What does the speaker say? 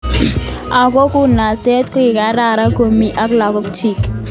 Ako kunotet kokikararan komokimii ak lagok chuk.